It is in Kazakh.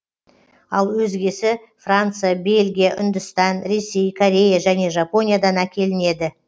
ал өзгесі франция бельгия үндістан ресей корея және жапониядан әкелінеді